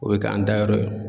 O bɛ k'an dayɔrɔ ye.